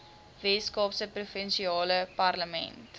weskaapse provinsiale parlement